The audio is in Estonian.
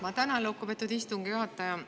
Ma tänan, lugupeetud istungi juhataja.